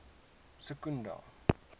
secunda